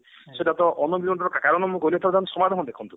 ସେଟା unemployment ର କାରଣ ମୁଁ କହିଲି ଏଥର ତାର ସମାଧାନ ଦେଖନ୍ତୁ